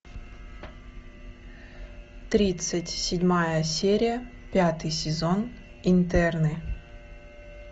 тридцать седьмая серия пятый сезон интерны